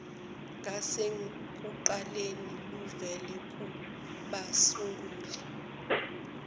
ngasekuqaleni luvela kubasunguli